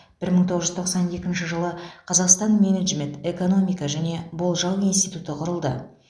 бір мың тоғыз жүз тоқсан екінші жылы қазақстан менеджмент экономика және болжау институты құрылды